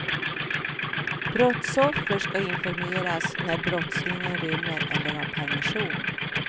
Brottsoffer ska informeras när brottslingen rymmer eller har permission.